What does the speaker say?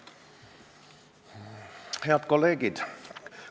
Head kolleegid!